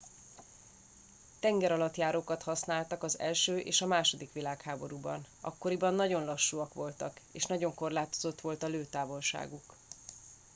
tengeralattjárókat használtak az i és a ii világháborúban akkoriban nagyon lassúak voltak és nagyon korlátozott volt a lőtávolságuk